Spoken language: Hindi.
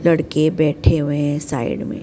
लड़के बैठे हुए साइड में।